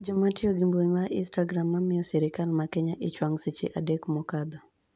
jomatiyo gi mbui mar istagram ma miyo sirikal ma Keneya ich wang' seche adek mokadho